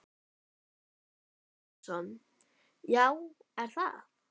Sverrir Þór Sverrisson: Já, er það?